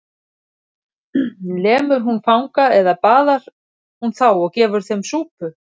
Lemur hún fanga eða baðar hún þá og gefur þeim súpu?